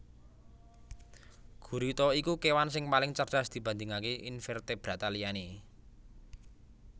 Gurita iku kewan sing paling cerdas dibandingaké invertebrata liyane